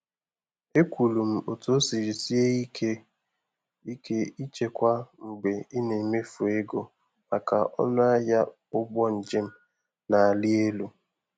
Ekwuru m otu o siri sie ike ike ịchekwa mgbe ị na-emefu ego maka ọnụ ahịa ụgbọ njem na-arị elu.